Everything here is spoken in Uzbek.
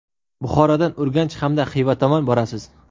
Buxorodan Urganch hamda Xiva tomon borasiz.